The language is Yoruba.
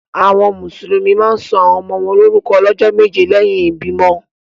Awọn musulumi ma ǹ sọ awọn ọmọ wọn lorukọ lọjọ meje lẹhin ibimọ.